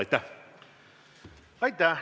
Aitäh!